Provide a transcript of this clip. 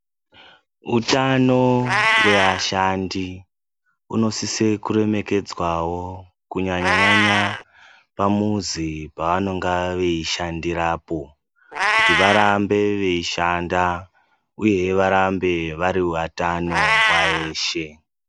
Hutano we ashandi unosise kuremekedzwawo, kunyanya nyanya pamuzi pavanonga veyishandirapo, kuti varambe veyishanda, uye varambe vari watano nguwa yeshe.